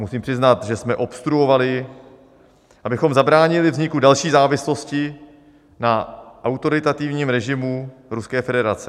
Musím přiznat, že jsme obstruovali, abychom zabránili vzniku další závislosti na autoritativním režimu Ruské federace.